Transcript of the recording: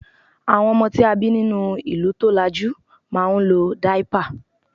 àwọn ọmọ tí a bi ninu ìlú tolaju ma n lo daipa